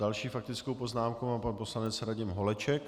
Další faktickou poznámku má pan poslanec Radim Holeček.